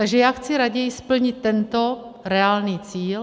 Takže já chci raději splnit tento reálný cíl.